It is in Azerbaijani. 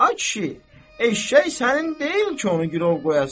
Ay kişi, eşşək sənin deyil ki, onu girov qoyasan.